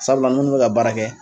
Sabula munnu bɛ ka baara kɛ